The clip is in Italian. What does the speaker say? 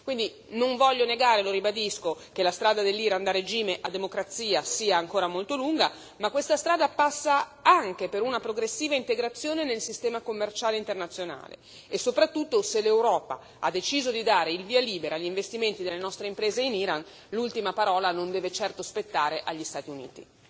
Quindi non voglio negare, lo ribadisco, che la strada dell'Iran dal regime a democrazia sia ancora molto lunga, ma questa strada passa anche per una progressiva integrazione nel sistema commerciale internazionale e soprattutto, se l'Europa ha deciso di dare il via libera agli investimenti delle nostre imprese in Iran, l'ultima parola non deve certo spettare agli Stati Uniti.